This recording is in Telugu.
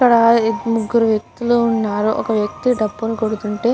ఇక్కడ ముగురు వక్తులు ఉనారు. ఒక వక్తి డపులు కొడుతుంటే --